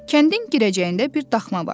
Kəndin girəcəyində bir daxma vardı.